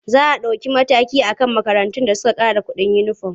Za a ɗauki mataki a kan makarantun da suka ƙara kuɗin uniform.